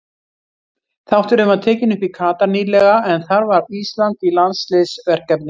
Þátturinn var tekinn upp í Katar nýlega en þar var Ísland í landsliðsverkefni.